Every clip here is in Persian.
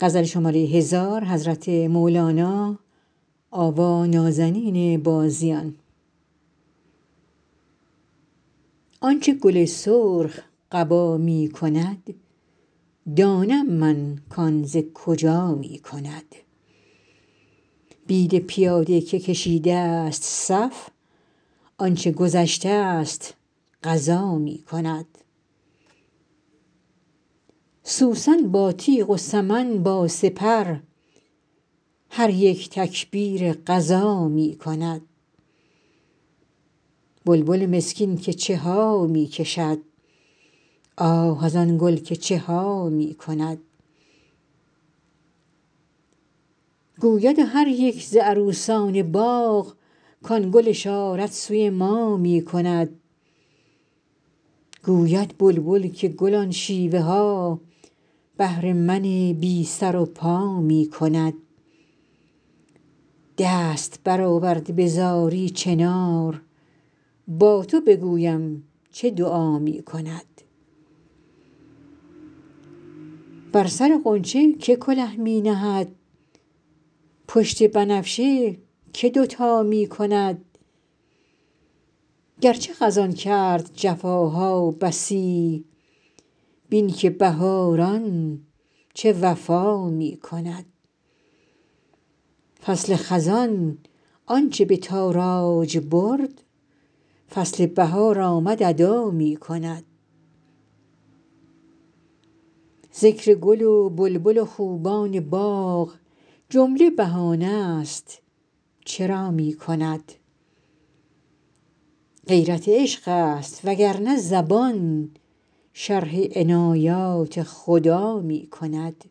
آنچ گل سرخ قبا می کند دانم من کان ز کجا می کند بید پیاده که کشیدست صف آنچ گذشتست قضا می کند سوسن با تیغ و سمن با سپر هر یک تکبیر غزا می کند بلبل مسکین که چه ها می کشد آه از آن گل که چه ها می کند گوید هر یک ز عروسان باغ کان گل اشارت سوی ما می کند گوید بلبل که گل آن شیوه ها بهر من بی سر و پا می کند دست برآورده به زاری چنار با تو بگویم چه دعا می کند بر سر غنچه کی کله می نهد پشت بنفشه کی دوتا می کند گرچه خزان کرد جفاها بسی بین که بهاران چه وفا می کند فصل خزان آنچ به تاراج برد فصل بهار آمد ادا می کند ذکر گل و بلبل و خوبان باغ جمله بهانه ست چرا می کند غیرت عشق است وگر نه زبان شرح عنایات خدا می کند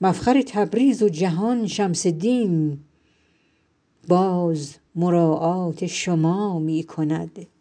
مفخر تبریز و جهان شمس دین باز مراعات شما می کند